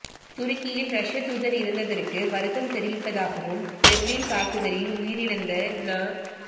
துருக்கியில் ரஷ்ய தூதர் இறந்ததற்கு வருத்தம் தெரிவிப்பதாகவும் பெர்லின் தாக்குதலில் உயிரிழந்த ந